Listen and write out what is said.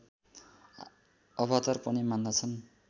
अवतार पनि मान्दछन्